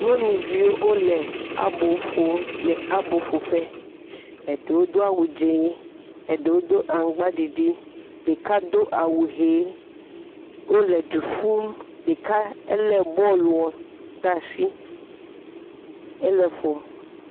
Nyɔnuviwo wole abo ƒom le aboƒoƒe, eɖewo do awu dz0, eɖewo do aŋgbaɖiɖi, ɖaka do awu hee, wole le du ƒumm, ɖeka lé bɔluɔ ɖe asi ele eƒom.